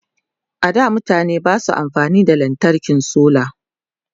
a da mutane Basu amfani da lantarkin solar